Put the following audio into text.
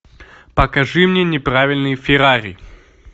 покажи мне неправильный феррари